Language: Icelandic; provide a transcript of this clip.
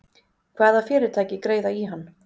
Hvaða fyrirtæki greiða í hann?